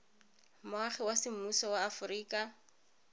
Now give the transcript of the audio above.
moagi wa semmuso wa aforika